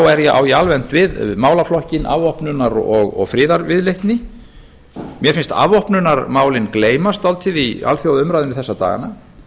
þá á ég almennt við málaflokkinn afvopnunar og friðarviðleitni mér finnst afvopnunarmálin gleymast dálítið í alþjóðaumræðunni þessa dagana